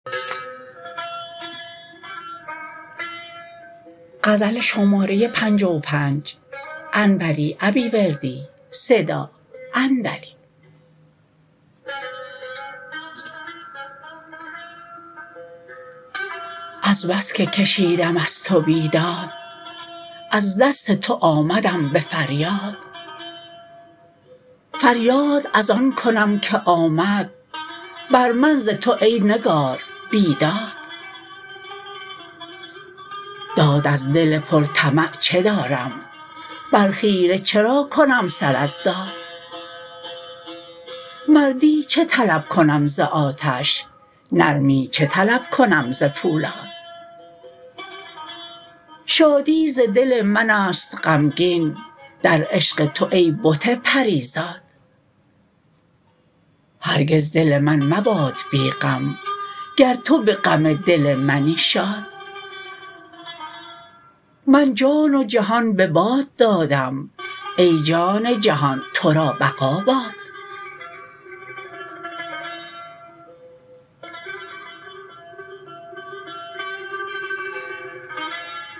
از بس که کشیدم از تو بیداد از دست تو آمدم به فریاد فریاد از آن کنم که آمد بر من ز تو ای نگار بیداد داد از دل پر طمع چه دارم بر خیره چرا کنم سر از داد مردی چه طلب کنم ز آتش نرمی چه طلب کنم ز پولاد شادی ز دل منست غمگین در عشق تو ای بت پری زاد هرگز دل من مباد بی غم گر تو به غم دل منی شاد من جان و جهان به باد دادم ای جان جهان ترا بقا باد